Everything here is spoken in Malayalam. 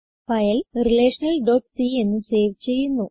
ഫയൽ relationalസി എന്ന് സേവ് ചെയ്യുന്നു